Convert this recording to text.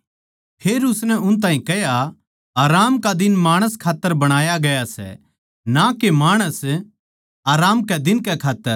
फेर उसनै उन ताहीं कह्या आराम का दिन माणस खात्तर बणाया गया सै ना के माणस आराम कै दिन के खात्तर